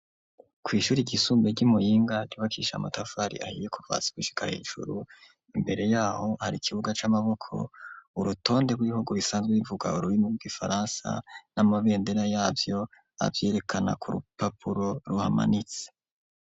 Kw'ishure ryisumbuye ry'imuyinga ryubakishije amatafari ahiye kuva hasi gushika hejuru imbere yaho hari ikibuga c'amaboko urutonde rw'ibihugu bisanzwe bivuga ururimi rw'igifaransa n'amabendera yavyo avyerekana ku rupapuro ruhamanitse.